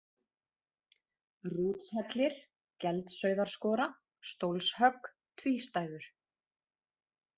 Rútshellir, Geldsauðarskora, Stólshögg, Tvístæður